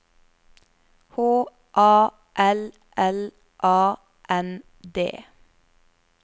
H A L L A N D